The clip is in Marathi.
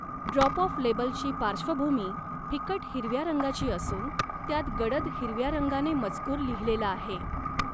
ड्रॉप ऑफ लेबलची पार्श्वभूमी फिकट हिरव्या रंगाची असून त्यात गडद हिरव्या रंगाने मजकूर लिहिलेला आहे.